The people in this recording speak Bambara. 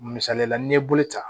Misalila n'i ye bolo ta